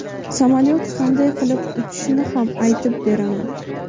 samolyot qanday qilib uchishini ham aytib beraman!.